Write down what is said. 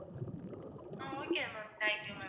ah okay ma'am, thank you ma'am